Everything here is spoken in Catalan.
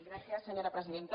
gràcies senyora presidenta